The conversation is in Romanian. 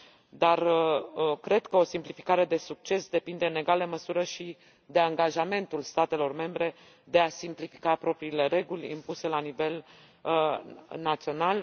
Dar cred că o simplificare de succes depinde în egală măsură și de angajamentul statelor membre de a simplifica propriile reguli impuse la nivel național.